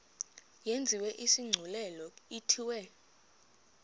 yenziwe isigculelo ithiwe